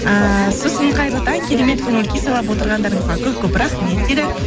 ііі сосын қайырлы таң керемет көңіл күй сыйлап отырғандарыңызға көп көп рахмет дейді